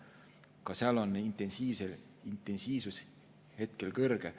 Ka seal on intensiivsus hetkel kõrge.